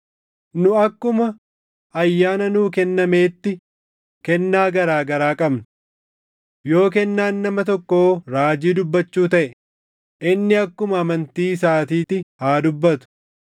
Nu akkuma ayyaana nuu kennameetti kennaa garaa garaa qabna. Yoo kennaan nama tokkoo raajii dubbachuu taʼe, inni akkuma amantii isaatitti haa dubbatu.